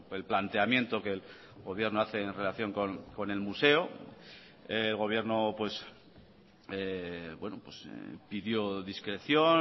el planteamiento que el gobierno hace en relación con el museo el gobierno pidió discreción